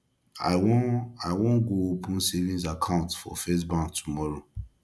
i wan i wan go open savings account for first bank tomorrow